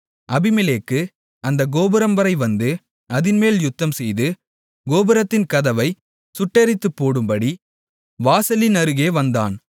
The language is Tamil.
அபிமெலேக்கு அந்த கோபுரம்வரை வந்து அதின்மேல் யுத்தம்செய்து கோபுரத்தின் கதவைச் சுட்டெரித்துப் போடும்படி வாசலின் அருகே வந்தான்